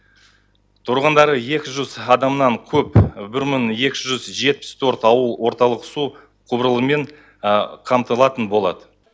тұрғындары екі жүз адамнан көп бір мың екі жүз жетпіс төрт ауыл орталық су құбырымен қамтылатын болады